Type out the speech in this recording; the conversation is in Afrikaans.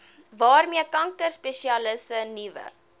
waarmee kankerspesialiste nuwe